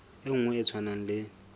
e nngwe e tshwanang le